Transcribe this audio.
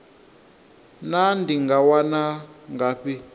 naa ndi nga wana ngafhi